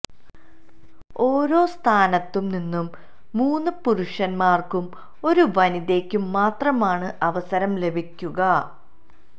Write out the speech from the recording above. ഓരോ സംസ്ഥാനത്തു നിന്നും മൂന്നു പുരുഷൻമാർക്കും ഒരു വനിതയ്ക്കും മാത്രമാണ് അവസരം ലഭിക്കുക